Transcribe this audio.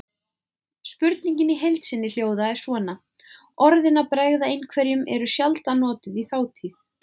Spurningin í heild sinni hljóðaði svona: Orðin að bregða einhverjum eru sjaldan notuð í þátíð.